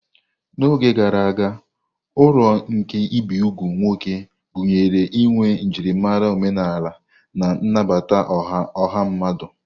N'oge gara aga, uru nke ibi úgwù nwoke gụnyere inwe njirimara omenala na nnabata ọha mmadụ.